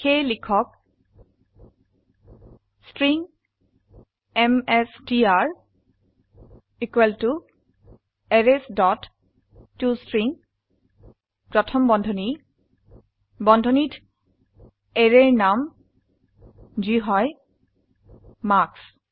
সেয়ে লিখক string MSTR arrays dot to string প্ৰথম বন্ধনী বন্ধনীত অ্যাৰেৰ নাম যি হয় মাৰ্কছ